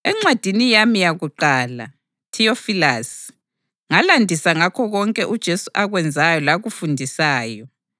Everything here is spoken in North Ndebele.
Encwadini yami yakuqala, Theyofelasi, ngalandisa ngakho konke uJesu akwenzayo lakufundisayo